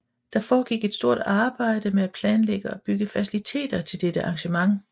Der foregik et stort arbejde med at planlægge og bygge faciliteter til dette arrangement